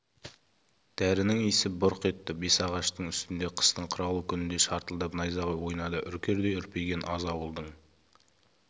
дәрінің исі бұрқ етті бесағаштың үстінде қыстың қыраулы күнінде шартылдап найзағай ойнады үркердей үрпиген аз ауылдың